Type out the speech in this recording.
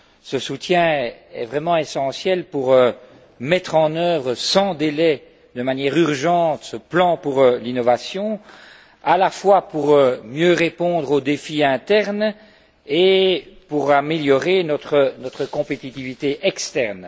Ce soutien est vraiment essentiel pour mettre en œuvre sans délai, de manière urgente, ce plan pour l'innovation, à la fois pour mieux répondre au défi interne et pour améliorer notre compétitivité externe.